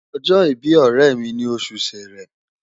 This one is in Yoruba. Ojo ibi oremi ni osu Sere